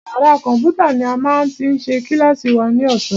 Yàrá kọ̀mpútà ní a máa ti ṣe kílàsì wa ní ọ̀sán.